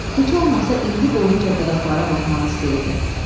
Heç olmasa indi doyunca budaqlara baxmaq istəyirdi.